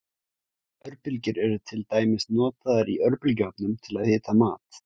Örbylgjur eru til dæmis notaður í örbylgjuofnum til að hita mat.